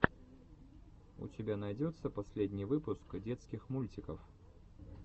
у тебя найдется последний выпуск детских мультиков